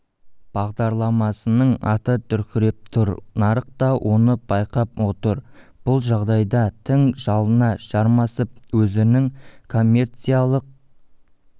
бағдарламасының аты дүркіреп тұр нарық та оны байқап отыр бұл жағдайда тың жалына жармасып өзінің коммерциялық